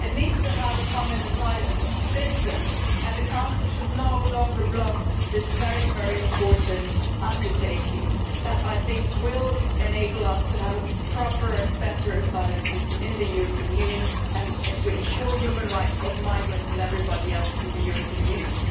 It needs to have a common asylum system and the Council should no longer block this very important undertaking which, I think, will enable us to have a proper and better asylum system in the European Union and to guarantee the human rights of migrants and everybody else in the European Union.